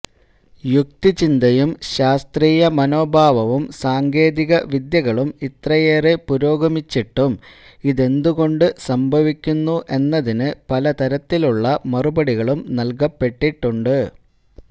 യുക്തിചിന്തയും ശാസ്ത്രീയ മനോഭാവവും സാങ്കേതിക വിദ്യകളും ഇത്രയേറെ പുരോഗമിച്ചിട്ടും ഇതെന്തുകൊണ്ടു സംഭവിക്കുന്നു എന്നതിന് പലതരത്തിലുള്ള മറുപടികളും നൽകപ്പെട്ടിട്ടുണ്ട്